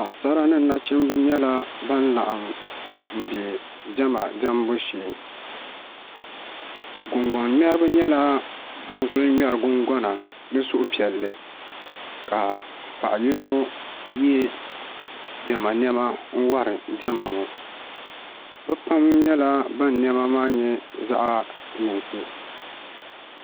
Paɣasara ni nachimbi nyɛla ban laɣam bɛ diɛma diɛmbu shee gungoŋ ŋmɛribi nyɛla ban ku ŋmɛri gungona ni suhupiɛlli ka paɣa yino yɛ diɛma niɛma wori diɛma ŋo bi pam nyɛla ban niɛma maa nyɛ zaɣ yinsi